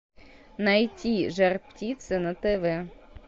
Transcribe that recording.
найти жар птица на тв